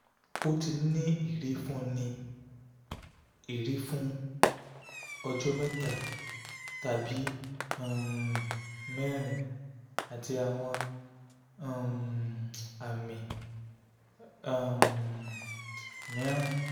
ó ti ní ìrì fún ní ìrì fún ọjọ́ mẹ́ta tàbí um mẹ́rin àti àwọn um àmì um mìíràn